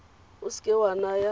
o se ke wa naya